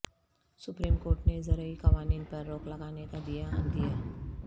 supreme court نے زرعی قوانین پر روک لگانے کا دیاعندیہ